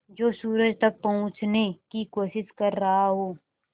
जो सूरज तक पहुँचने की कोशिश कर रहा हो